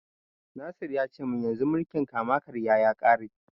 Nasir ya ce mun yanzu mulkin kama-karya ya ƙare.